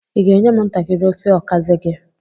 Ị ga-enye m ntakịrị ofe okazi gị?